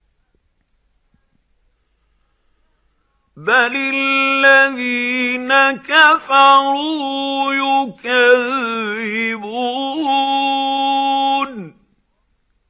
بَلِ الَّذِينَ كَفَرُوا يُكَذِّبُونَ